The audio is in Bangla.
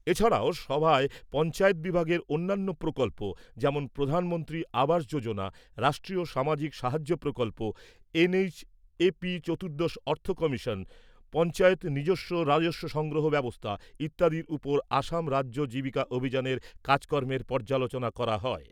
এছাড়াও, সভায় পঞ্চায়েত বিভাগের অন্যান্য প্রকল্প যেমন প্রধানমন্ত্রী আবাস যোজনা গ্রামীণ, রাষ্ট্রীয় সামাজিক সাহায্য প্রকল্প, এনএইচএপি, চতুর্দশ অর্থ কমিশন, পঞ্চায়েতের নিজস্ব রাজস্ব সংগ্রহ ব্যবস্থা ইত্যাদির ওপর অসম রাজ্য জীবিকা অভিযানের কাজকর্মের পর্যালোচনা করা হয়।